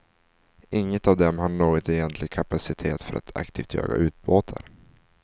Inget av dem har någon egentlig kapacitet för att aktivt jaga ubåtar.